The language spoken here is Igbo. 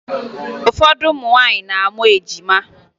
Ụfọdụ ụmụ nwaanyị na-amụ ejima